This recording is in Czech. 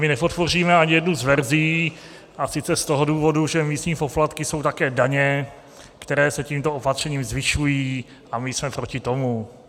My nepodpoříme ani jednu z verzí, a sice z toho důvodu, že místní poplatky jsou také daně, které se tímto opatřením zvyšují, a my jsme proti tomu.